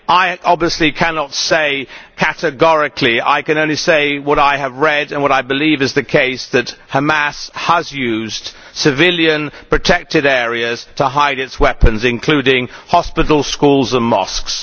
I obviously cannot say categorically, I can only say what I have read and what I believe to be the case that Hamas has used civilian, protected areas to hide its weapons, including in hospitals, schools and mosques.